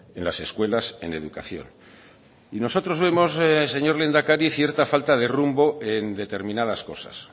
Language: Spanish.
en las escuelas en educación y nosotros vemos señor lehendakari cierta falta de rumbo en determinadas cosas